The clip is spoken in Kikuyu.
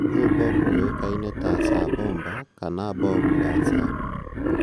Riu bomu ĩyoikaine ta Tsar Bomba kana Bomu la Tsar